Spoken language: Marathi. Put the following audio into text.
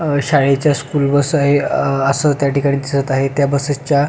शाळेच्या स्कूल बस आहे असं त्या ठिकाणी दिसत आहे त्या बसेस च्या--